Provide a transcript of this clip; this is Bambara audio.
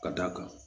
Ka d'a kan